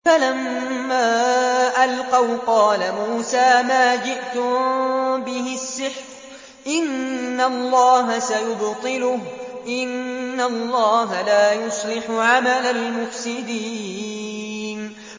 فَلَمَّا أَلْقَوْا قَالَ مُوسَىٰ مَا جِئْتُم بِهِ السِّحْرُ ۖ إِنَّ اللَّهَ سَيُبْطِلُهُ ۖ إِنَّ اللَّهَ لَا يُصْلِحُ عَمَلَ الْمُفْسِدِينَ